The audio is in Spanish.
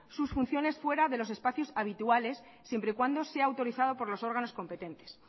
sus funciones fuera de los espacios habituales siempre y cuando sea autorizado por los órganos competentes